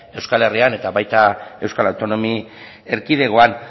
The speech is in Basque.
euskal herrian eta baita euskal autonomia erkidegoan